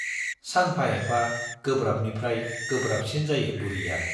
सानफा एफा गोब्राबनिफ्राइ गोब्राबसिन जायो बुरिया।